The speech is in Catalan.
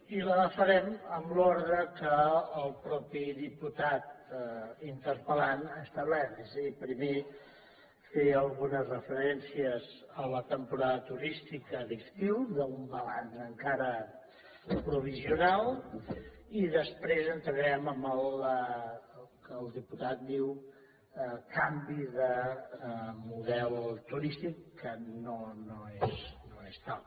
i la farem en l’ordre que el mateix diputat interpel·lant ha establert és a dir primer fer algunes referències a la temporada turística d’estiu d’un balanç encara provisional i després entrarem en el que el diputat diu canvi de model turístic que no és tal